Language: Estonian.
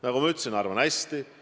Nagu ma ütlesin, arvan hästi.